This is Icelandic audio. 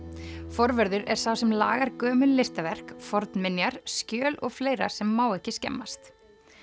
forvörður er sá sem lagar gömul listaverk fornminjar skjöl og fleira sem má ekki skemmast